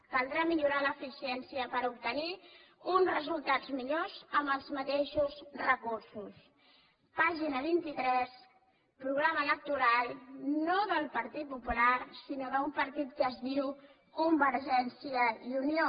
caldrà millorar l’eficiència per obtenir uns resultats millors amb els mateixos recursos pàgina vint tres programa electoral no del partit popular sinó d’un partit que es diu convergència i unió